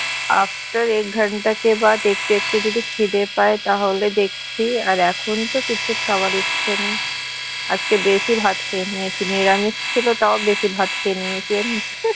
after একটু একটু যদি খিদা পায় তাহলে দেখছি আর এখন তো কিছু খাওয়ার ইচ্ছা নেই আজকে বেশি ভাত খেয়ে নিয়েছি নিরামিষ ছিল তাও বেশি ভাত খেয়ে নিয়েছি